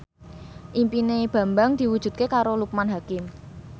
impine Bambang diwujudke karo Loekman Hakim